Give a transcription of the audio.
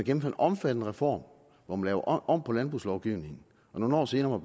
en omfattende reform hvor man laver om på landbrugslovgivningen og nogle år senere